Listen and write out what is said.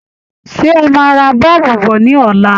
Ṣé ẹ máa ra bọ́ọ̀bù bọ̀ ní ọ̀la?